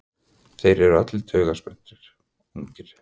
Þeir eru allir taugaspenntir, ungir.